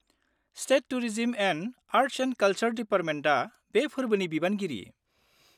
State tourism and arts and कालसारेल दिपार्टमेन्टा बे फोर्बोनि बिबानगिरि।